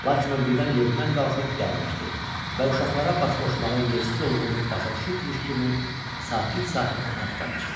Lakin o birdən yerindən qalxıb gərnəşdi və uşaqlara baş qoşmağın yersiz olduğunu başa düşübmüş kimi sakit-sakit otaqdan çıxdı.